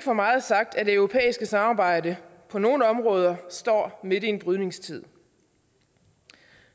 for meget sagt at det europæiske samarbejde på nogle områder står midt i en brydningstid